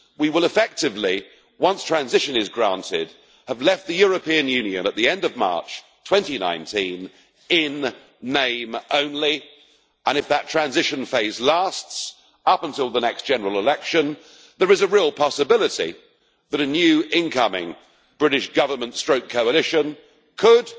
We will effectively, once transition is granted, have left the European Union at the end of March 2019 in name only, and if that transition phase lasts up until the next general election, there is a real possibility that a new incoming British Government coalition could